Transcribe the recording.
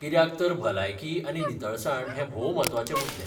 कित्याक तर भलायकी आनी नितळसाण हे भोव म्हत्वाचे मुद्दे .